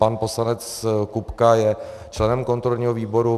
Pan poslanec Kupka je členem kontrolního výboru.